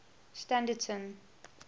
standerton